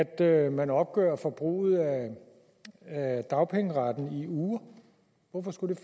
at man opgør forbruget af dagpengeretten i uger